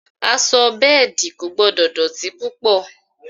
Aṣọ bẹ́ẹ̀dì kò gbọ́dọ̀ dọ̀tí púpọ̀